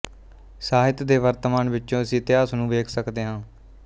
ਸਾਹਿਤ ਦੇ ਵਰਤਮਾਨ ਵਿੱਚੋਂ ਅਸੀਂ ਇਤਿਹਾਸ ਨੂੰ ਵੇਖ ਸਕਦੇ ਹਾਂ